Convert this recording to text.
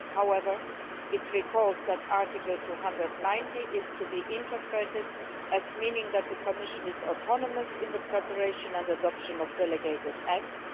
however, it recalls that Article 290 is to be interpreted as meaning that the Commission is autonomous in the preparation and adoption of delegated acts.